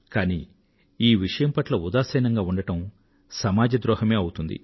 కానీ ఈ విషయం పట్ల ఉదాసీనంగా ఉండడం సమాజ ద్రోహమే అవుతుంది